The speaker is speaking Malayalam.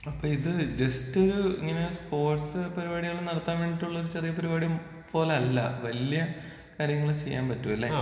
അപ്പോ ഇത് ജസ്റ്റ് ഇങ്ങനെ സ്പോർട്സ് പരിപാടികൾ നടത്താൻ വേണ്ടിട്ടുള്ള ചെറിയ പരിപാടി പോലെ അല്ല. വല്യ കാര്യങ്ങൾ ചെയ്യാൻ പറ്റും അല്ലെ?